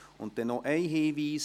Und noch einen Hinweis: